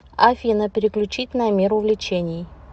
афина переключить на мир увлечений